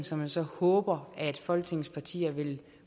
som jeg så håber at folketingets partier vil